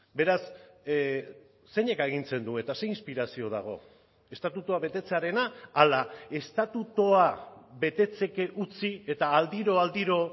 beraz zeinek agintzen du eta ze inspirazio dago estatutua betetzearena ala estatutua betetzeke utzi eta aldiro aldiro